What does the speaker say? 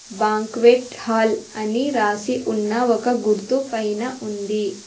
Banquet hall అని రాసి ఉన్న ఒక గుర్తుపైన ఉంది.